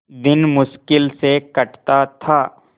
दिन मुश्किल से कटता था